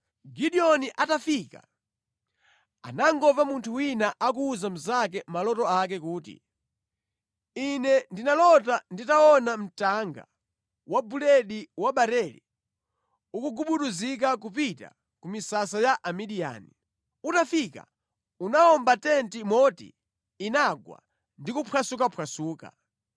Gideoni atafika anangomva munthu wina akuwuza mnzake maloto ake kuti, “Ine ndinalota nditaona dengu la buledi wa barele likugubuduzika kupita ku misasa ya Amidiyani. Litafika linawomba tenti moti inagwa ndi kuphwasukaphwasuka.”